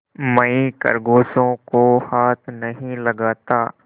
मैं खरगोशों को हाथ नहीं लगाता